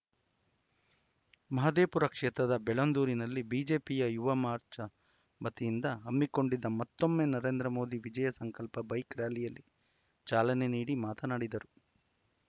ಮಹದೇವಪುರ ಕ್ಷೇತ್ರದ ಬೆಳ್ಳಂದೂರಿನಲ್ಲಿ ಬಿಜೆಪಿಯ ಯುವ ಮಾರ್ಚಾ ವತಿಯಿಂದ ಹಮ್ಮಿಕೊಂಡಿದ್ದ ಮತ್ತೊಮ್ಮೆ ನರೇಂದ್ರ ಮೋದಿ ವಿಜಯ ಸಂಕಲ್ಪ ಬೈಕ್‌ ರ‍್ಯಾಲಿಯಲ್ಲಿ ಚಾಲನೆ ನೀಡಿ ಮಾತನಾಡಿದರು